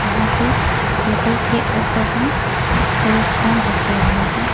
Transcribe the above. यहां पे टेबल के ऊपर में दो स्पून रखें हुए हैं।